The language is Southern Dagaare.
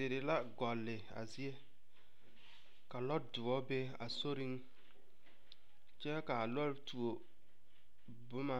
Deri la gɔlle a zie ka lɔdoɔ be a soreŋ kyɛ ka a lɔɔre tuo boma